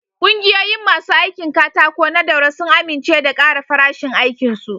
Kungiyoyin masu aikin katako na Daura sun amince da ƙara farashin aikin su.